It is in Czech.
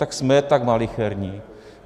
Tak jsme tak malicherní.